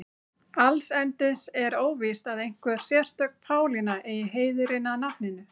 Allsendis er óvíst að einhver sérstök Pálína eigi heiðurinn að nafninu.